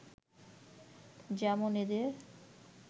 যেমন এদের